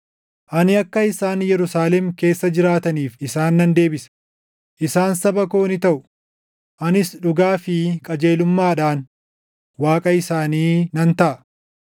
Ani akka isaan Yerusaalem keessa jiraataniif isaan nan deebisa; isaan saba koo ni taʼu; anis dhugaa fi qajeelummaadhaan Waaqa isaanii nan taʼa.”